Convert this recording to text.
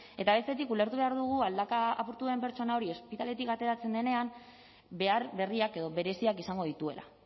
eta bestetik ulertu behar dugu aldaka apurtu duen pertsona hori ospitaletik ateratzen denean behar berriak edo bereziak izango dituela